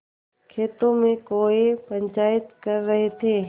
खेतों में कौए पंचायत कर रहे थे